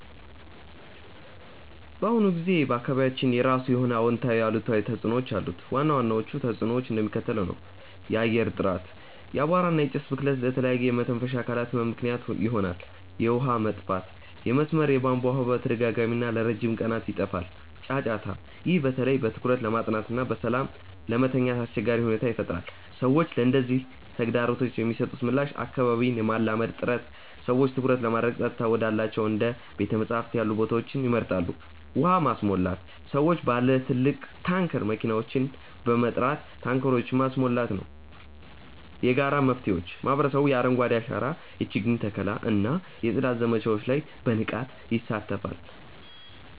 በአሁኑ ጊዜ በአካባቢያችን የራሱ የሆነ አዎንታዊና አሉታዊ ተጽዕኖዎች አሉት። ዋና ዋናዎቹ ተጽዕኖዎች እንደሚከተለው ነው፦ የአየር ጥራት፦ የአቧራ እና የጭስ ብክለት ለተለያዩ የመተንፈሻ አካላት ህመም ምክንያት ይሆናል። የውሃ መጥፋት፦ የመስመር የቧንቧ ውሃ በተደጋጋሚና ለረጅም ቀናት ይጠፋል። ጫጫታ፦ ይህ በተለይ በትኩረት ለማጥናትና በሰላም ለመተኛት አስቸጋሪ ሁኔታን ይፈጥራል። ሰዎች ለነዚህ ተግዳሮቶች የሚሰጡት ምላሽ አካባቢን የማላመድ ጥረት፦ ሰዎች ትኩረት ለማድረግ ጸጥታ ወዳላቸው እንደ ቤተ-መጻሕፍት ያሉ ቦታዎችን ይመርጣሉ። ውሃ ማስሞላት፦ ሰዎች ባለ ትልቅ ታንከር መኪናዎችን በመጥራት ታንከሮቻቸውን ማስሞላት ነው። የጋራ መፍትሄዎች፦ ማህበረሰቡ የአረንጓዴ አሻራ የችግኝ ተከላ እና የጽዳት ዘመቻዎች ላይ በንቃት ይሳተፋል።